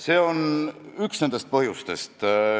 See on üks põhjustest.